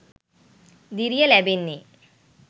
දිරිය ලැබෙන්නේ.